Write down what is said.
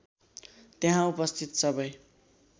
त्यहाँ उपस्थित सबै